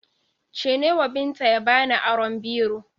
Ce newa Binta ya bani aron biro